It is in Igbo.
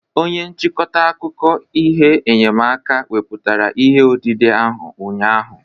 Onye nchịkọta akụkọ ihe enyemaka weputara ihe odide ahụ ụnyahụ